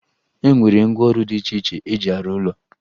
E nwere ngwaọrụ dị iche iche eji arụ ụlọ